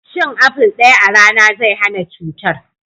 Cin aful daya a rana zai hana cutar.